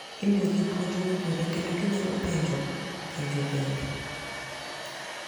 Imiyogi puonj mowinjore kendo ginyalo penjo penjo bende.